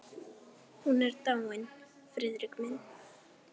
Hún er dáin, Friðrik minn.